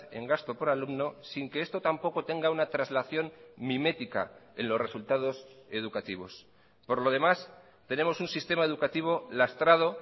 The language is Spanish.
en gasto por alumno sin que esto tampoco tenga una traslación mimética en los resultados educativos por lo demás tenemos un sistema educativo lastrado